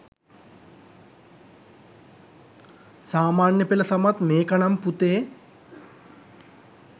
සාමාන්‍යපෙළ සමත් මේක නම් පුතේ